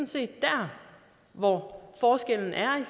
set der hvor forskellen er i